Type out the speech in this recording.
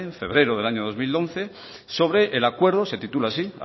febrero del año dos mil once sobre el acuerdo se titula así